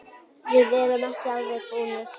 Við erum ekki alveg búnir.